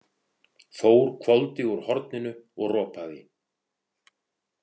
Þór hvolfdi úr horninu og ropaði.